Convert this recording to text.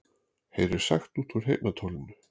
Heyrir sagt út úr heyrnartólinu